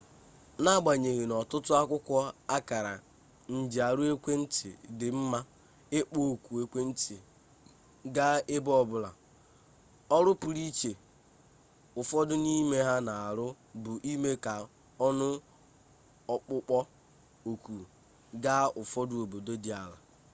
n'agbanyeghị na ọtụtụ akwụkwọ akara njiarụ ekwentị dị mma ịkpọ oku ekwentị gaa ebe ọbụla ọrụ pụrụ iche ụfọdụ n'ime ha na-arụ bụ ime ka ọnụ ọkpụkpọ oku gaa ụfọdụ obodo dị ala